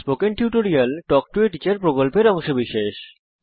spoken tutorial talk to a teacher প্রকল্পের অংশবিশেষ